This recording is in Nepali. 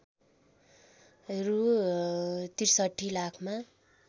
रु ६३ लाखमा